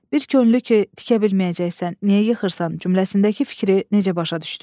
Bir könüllü ki tikə bilməyəcəksən, niyə yıxırsan cümləsindəki fikri necə başa düşdüz?